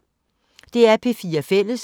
DR P4 Fælles